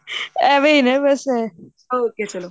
ਏਵੇਂ ਹੀ ਬਸ ਇਹ okay ਚਲੋ